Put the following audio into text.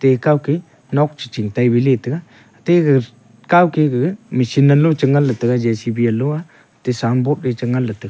pekow ke nok chi chi tailey bethega tega kow ke gaga mechine nalo chi ngan ley taiga jcb yalo aa signboard wai chu ngan ley tega.